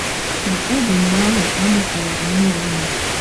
Ma, ọ bụ mgbe ahụ ka m ghọtawara ihe ụwa na - akọ.